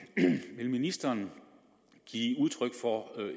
vil ministeren give udtryk for